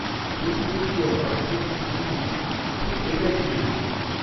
জ্যোতি বসু, ও হরকিষেণ সিংহ সুরজিত ঠিক এটাই চেয়ে এসছেন